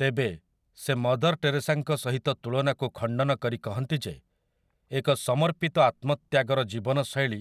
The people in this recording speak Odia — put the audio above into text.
ତେବେ, ସେ ମଦର୍ ଟେରେସାଙ୍କ ସହିତ ତୁଳନାକୁ ଖଣ୍ଡନ କରି କହନ୍ତି ଯେ ଏକ ସମର୍ପିତ ଆତ୍ମତ୍ୟାଗର ଜୀବନଶୈଳୀ